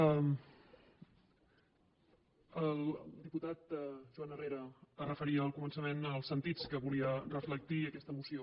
el diputat joan herrera es referia al començament als sentits que volia reflectir aquesta moció